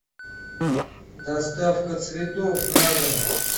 доставка цветов на дом